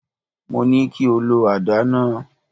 Mo ní kí o lọ àdá náà.!